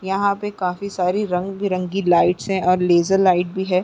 यहाँ पे काफी सारी रंग बिरंगे लाइट्स है और लेज़र लाइट्स भी है।